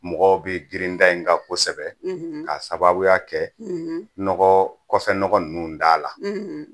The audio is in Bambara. Mɔgɔ bɛ girin n ta in kan kosɛbɛ k'a sababuya kɛ nɔgɔ kɔfɛnɔgɔ ninnu t'a la